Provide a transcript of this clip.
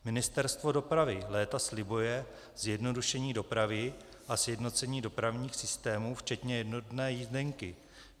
Ministerstvo dopravy léta slibuje zjednodušení dopravy a sjednocení dopravních systémů včetně jednotné jízdenky.